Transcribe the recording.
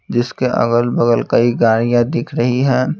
जिसके अगल-बगल कई गाड़ियां दिख रही है।